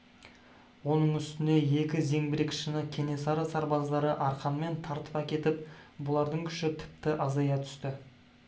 оның үстіне екі зеңбірекшіні кенесары сарбаздары арқанмен тартып әкетіп бұлардың күші тіпті азая түсті